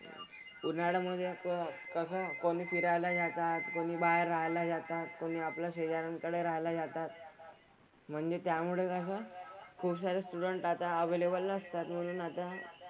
उन्हाळ्यामधे पण कसं कोणी फिरायला जातात, कोणी बाहेर राहायला जातात, कोणी आपल्या शेजाऱ्यांकडे राहायला जातात. म्हणजे त्यामुळे कसं खुपसारे स्टुडंट आता अव्हेलेबल नसतात म्हणून आता,